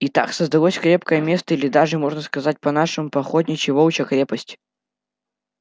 и так создалось крепкое место или даже можно сказать по-нашему по-охотничьи волчья крепость